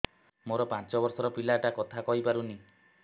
ମୋର ପାଞ୍ଚ ଵର୍ଷ ର ପିଲା ଟା କଥା କହି ପାରୁନି